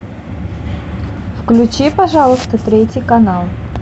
включи пожалуйста третий канал